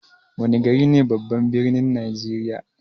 Wana gari ne babban birnin najeriya?